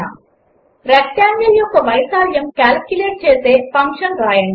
rectangle యొక్క వైశాల్యం calculate చేసే ఫంక్షన్ వ్రాయండి